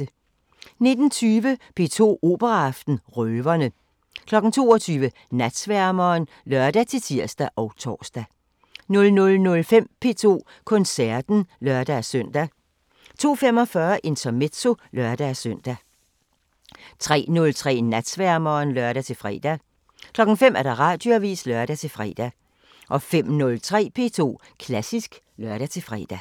19:20: P2 Operaaften: Røverne 22:00: Natsværmeren (lør-tir og tor) 00:05: P2 Koncerten (lør-søn) 02:45: Intermezzo (lør-søn) 03:03: Natsværmeren (lør-fre) 05:00: Radioavisen (lør-fre) 05:03: P2 Klassisk (lør-fre)